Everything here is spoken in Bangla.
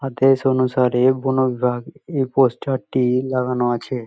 আদেশ অনুসারে বন বিভাগ এই পোস্টার -টি লাগানো আছে।